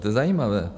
To je zajímavé.